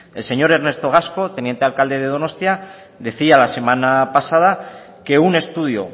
el señor ernesto gasco teniente alcalde de donostia decía la semana pasada que un estudio